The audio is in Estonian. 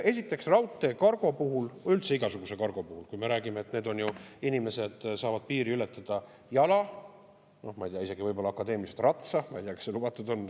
Esiteks, raudteekargo puhul, üldse igasuguse kargo puhul, kui me räägime, et inimesed saavad piiri ületada jala, noh, ma ei tea, isegi võib-olla akadeemiliselt ratsa – ma ei tea, kas see lubatud on.